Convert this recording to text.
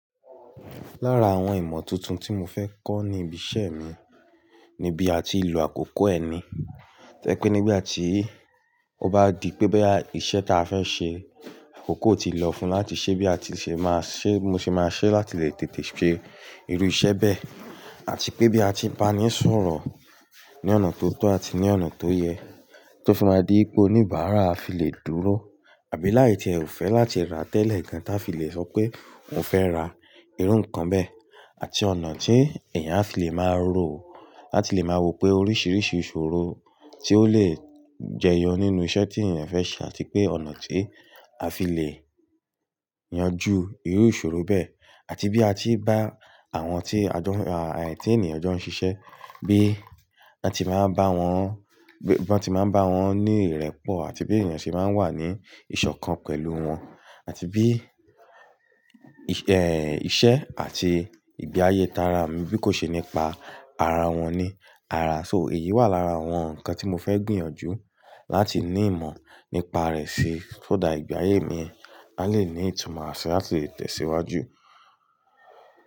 Lára àwọn ìmọ̀ tuntun tí mo fẹ́ kọ́ ni ibi iṣẹ́ mi ni bí a ti ń lo àkókò ẹni. To ye pé nígbà tí ó bá di pé bẹ́ iṣẹ́ tí a fẹ́ ṣe àkókò ti lọ fún láti ṣe bí a ti ṣe máa ṣe, mo ṣe máa ṣe láti lè tètè ṣe irú iṣẹ́ bẹ́ẹ̀ àti pé bí a ti bá ní ìṣòro ní ọ̀nà tó tọ́ àti ní ọ̀nà tó yẹ tó fi máa di pé oníbàárà á fi lè dúró. Àbí láì tí ẹ ò fẹ́ láti ra tẹ́lẹ̀ ǹkan tí a fi lè sọ pé n o fẹ́ ra irú ǹkan bẹ́ẹ̀ àti ọ̀nà tí èèyàn á fi lè máa rò láti lè máa wo pé oríṣiríṣi ìṣòro tí ó lè jẹyọ nínú iṣẹ́ tí èèyàn fẹ́ ṣe àti pé ọ̀nà tí a fi lè yanjú irú ìṣòro bẹ́ẹ̀ àti bí a ti bá àwọn tí ẹ ti ènìyàn jọ ń ṣiṣẹ́, bí wọ́n ti máa ń bá wọn ní ìrẹ́pọ̀ àti bí èèyàn ṣe máa ń wà ní ìṣọ̀kan pẹ̀lú wọn àti bí ìṣe àti ìgbé ayé ta rà mí bí kò ṣe nípa ara wọn ní ara. So èyí wà lára àwọn ǹkan tí mo fẹ́ gbìyànjú láti ní ìmọ̀ nípa rẹ̀ sí so that ìgbé ayé mi lá lè ní ìtumọ̀ àṣẹ láti tẹ̀síwájú.